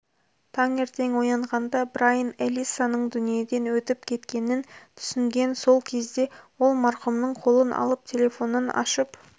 таңертең оянғанда брайн элиссаның дүниеден өтіп кеткенін түсінген сол кезде ол марқұмның қолын алып телефонын ашып